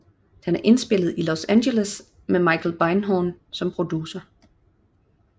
Den er indspillet i Los Angeles med Michael Beinhorn som producer